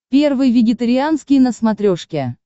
первый вегетарианский на смотрешке